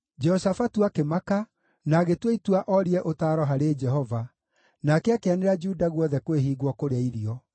Jehoshafatu akĩmaka, na agĩtua itua orie ũtaaro harĩ Jehova, nake akĩanĩrĩra Juda guothe kwĩhingwo kũrĩa irio.